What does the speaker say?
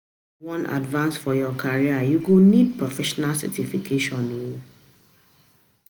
If you wan advance for your career, you go need professional certification o.